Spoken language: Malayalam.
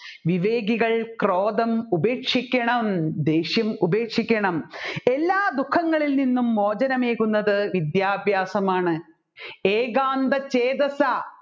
വിവേകികൾ ക്രോധം ഉപേക്ഷിക്കണം ദേഷ്യം ഉപേക്ഷിക്കണം എല്ലാ ദുഃങ്ങളിലിൽ നിന്നും മോചനമേകുന്നത് വിദ്യാഭ്യാസമാണ് ഏകാന്ത ചേതസഃ